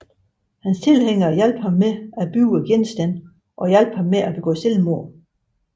Hans tilhængere hjalp ham med at bygge genstanden og hjalp ham med at begå selvmord